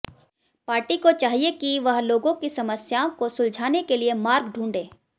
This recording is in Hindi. पार्टी को चाहिए कि वह लोगों की समस्याओं को सुलझाने के लिए मार्ग ढूंढे